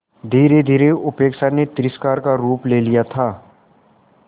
धीरेधीरे उपेक्षा ने तिरस्कार का रूप ले लिया था